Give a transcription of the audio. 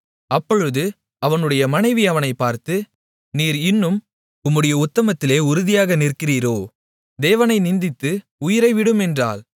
அப்பொழுது அவனுடைய மனைவி அவனைப் பார்த்து நீர் இன்னும் உம்முடைய உத்தமத்திலே உறுதியாக நிற்கிறீரோ தேவனை நிந்தித்து உயிரை விடும் என்றாள்